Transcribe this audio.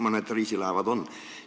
Mõned reisilaevad meil on.